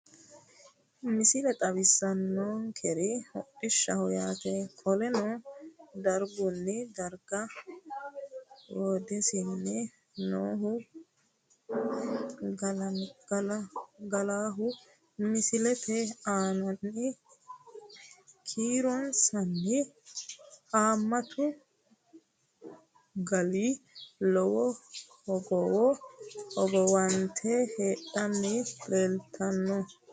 Misile xawisaankeri hodhishshaho yaate qoleno darigunni dariga hodhisanni noohu gaallaho misilete anaanni kiironssanni haamattu gaali lowo hogowo hogowante hadhanni leellitanno